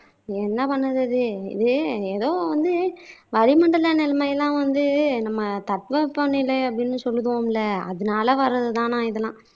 என்ன பண்ணுறது இது ஏதோ வந்து வளி மண்டல நிலைமை எல்லாம் வந்து நம்ம தட்ப வெட்ப நிலை அப்படின்னு சொல்லுதோம்ல அதுனால வர்றது தானாம் இதெல்லாம்